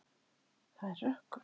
Það er rökkur.